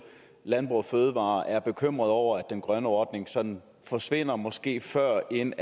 landbrug fødevarer er bekymrede over at den grønne ordning sådan forsvinder måske før end